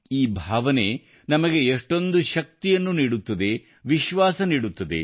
ಈ ಭಾವನೆ ನಮಗೆ ಎಷ್ಟು ಚೈತನ್ಯ ನೀಡುತ್ತದೆ ವಿಶ್ವಾಸ ನೀಡುತ್ತದೆ